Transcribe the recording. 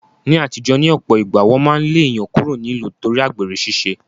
Ní aàtijọ́, ní ọ̀pọ̀ ìgbà, wọn máa ń lé èèyàn kúrò nílùú nítorí àgbèrè ṣiṣẹ́